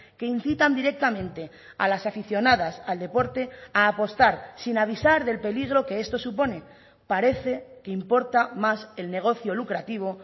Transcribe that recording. que incitan directamente a las aficionadas al deporte a apostar sin avisar del peligro que esto supone parece que importa más el negocio lucrativo